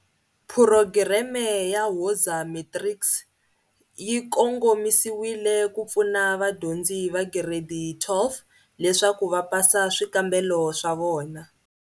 PHUROGIREME YA WOZA MATRICS yi kongomisiwile ku pfuna vadyondzi va Giredi 12 leswaku va pasa swikambelo swa vona.